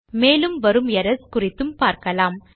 மேலும் வரும் எரர்ஸ் குறித்தும் பார்க்கலாம்